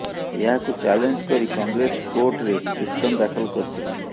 ଏହାକୁ ଚ୍ୟାଲେଞ୍ଜ କରି କଂଗ୍ରେସ କୋର୍ଟରେ ପିଟିସନ ଦାଖଲ କରିଥିଲା